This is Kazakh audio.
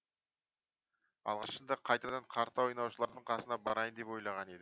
алғашында қайтадан карта ойнаушылардың қасына барайын деп ойлаған едім